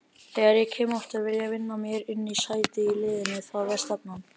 Þegar ég kem aftur vil ég vinna mér inn sæti í liðnu, það er stefnan.